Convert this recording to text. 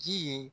Ji ye